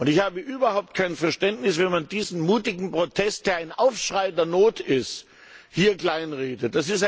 Ich habe überhaupt kein Verständnis, wenn man diesen mutigen Protest, der ein Aufschrei der Not ist, hier kleinredet.